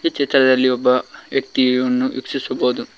ಈ ಚಿತ್ರದಲ್ಲಿ ಒಬ್ಬ ವ್ಯಕ್ತಿಯನ್ನು ವೀಕ್ಷಿಸಬಹುದು.